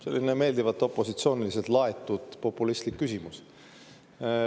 Selline meeldivalt opositsiooniliselt laetud populistlik küsimus.